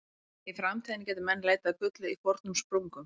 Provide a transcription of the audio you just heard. Í framtíðinni gætu menn leitað að gulli í fornum sprungum.